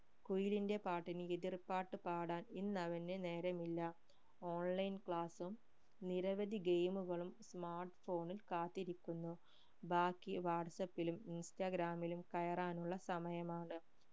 കുയിലിന്റെ പാട്ടിന് എതിർപ്പാട്ടു പാടാൻ ഇന്ന് അവനു നേരമില്ല online class ഉം നിരവധി game കളും smart phone ഉം കാത്തിരിക്കുന്നു ബാക്കി വാട്സാപ്പിലും ഇൻസ്റാഗ്രാമിലും കയറാനുള്ള സമയമാണ്